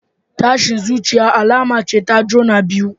Tashin zuciya alama ce ta juna biyu.